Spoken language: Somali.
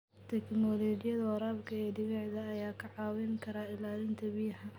Tiknooloojiyada waraabka ee dhibicda ayaa kaa caawin kara ilaalinta biyaha.